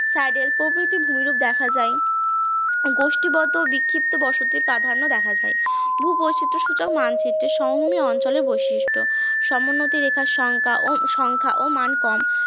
সাইডেল প্রভৃতি ভূমিরূপ দেখা যায়, গোষ্ঠীবদ্ধ বিক্ষিপ্ত বসতি প্রাধান্য দেখা যায়, ভূবৈচিত্র সূচক মানচিত্রের সমভূমি অঞ্চলে বৈশিষ্ট্য, সমোন্নতি রেখার সংখ্যা ও সংখ্যা মান কম